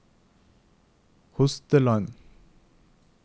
Hosteland